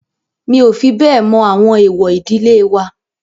Mi ò fi bẹ́ẹ̀ mọ àwọn èwọ̀ ìdílé wa.